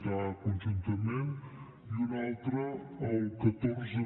bconjuntament i un altre el catorce